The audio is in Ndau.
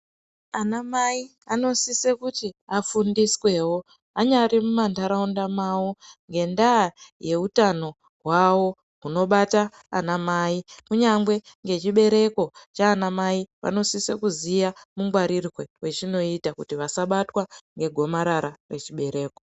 Ana mai anosise kuti afundiswewo anyari mumantaraunda mavo ngendaa yeutano hwavo hunobata ana mai kunyange ngechibereko chana mai vanosise kuziya mungwarirwe wechinoita kuti vasabatwa ngegomarara rechibereko.